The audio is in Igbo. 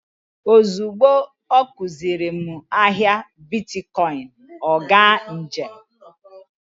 Ozugbo ọ kuziri m ahịa bitkọịnị, ọ gaa njem.